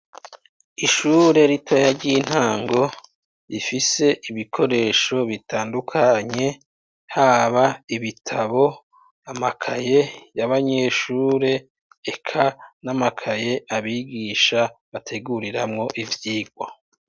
Ishure ritoya ry'intango rifise ibikoresho bitandukanye haba ibitabo amakaye y'abanyeshure eka n'amakaye abigisha bateguriramwo ivyirwa.